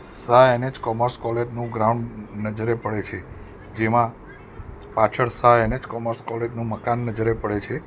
Shah N H commerce college નું ground નજરે પડે છે જેમાં પાછળ શાહ એન_એચ કોમર્સ કોલેજ નું મકાન નજરે પડે છે.